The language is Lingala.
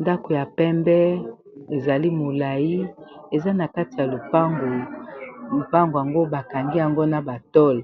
ndako ya pembe ezali molai eza na kati ya lopango ,lopango yango bakangi yango na batole ,